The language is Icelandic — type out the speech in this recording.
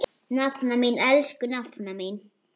Nafna mín, elsku nafna mín.